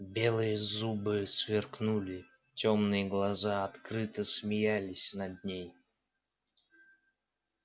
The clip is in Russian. белые зубы сверкнули тёмные глаза открыто смеялись над ней